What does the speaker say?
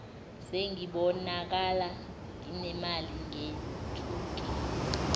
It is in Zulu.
sengibonakala nginemali ngethukile